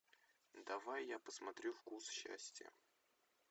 давай я посмотрю вкус счастья